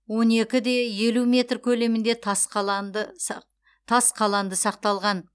он екі де елу метр көлемінде тас қаланды сақталған